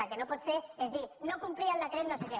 el que no pot fer és dir no complir el decret no sé què